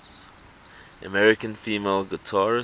american female guitarists